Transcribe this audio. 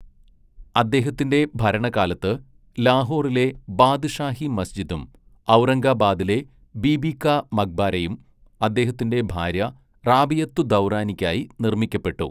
അദ്ദേഹത്തിന്റെ ഭരണകാലത്ത് ലാഹോറിലെ ബാദ്ഷാഹി മസ്ജിദും ഔറംഗബാദിലെ ബീബീ കാ മക്ബാരയും അദ്ദേഹത്തിന്റെ ഭാര്യ റാബിയത്തുദ്ദൗറാനിക്കായി നിർമ്മിക്കപ്പെട്ടു.